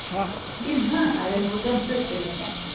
Inne er det noe dempet belysning.